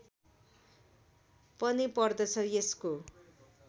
पनि पर्दछ यसको